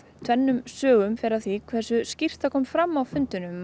tvennum sögum fer af því hversu skýrt þetta kom fram á fundunum